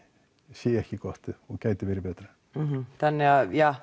sé ekki gott og gæti verið betra þannig að